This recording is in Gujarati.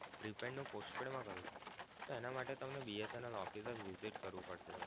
prepaid નું postpaid મા કરવું છે તો એના માટે તમે BSNL office ને visit કરવું પડે.